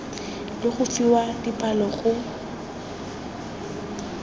le go fiwa dipalo go